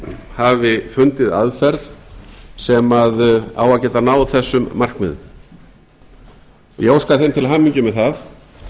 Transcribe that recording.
hafi fundið aðferð sem á að geta náð þessu markmiðum ég óska þeim til hamingju með það